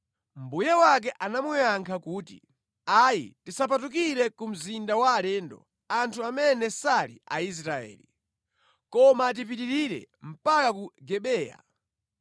Mbuye wake anamuyankha kuti, “Ayi, tisapatukire ku mzinda wa alendo, anthu amene sali Aisraeli. Koma tipitirire mpaka ku Gibeya.”